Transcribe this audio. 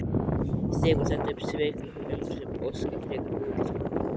Stefán setti upp svikalausan undrunarsvip og óskaði frekari útlistunar.